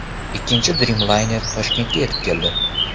Ikkinchi Dreamliner Toshkentga yetib keldi.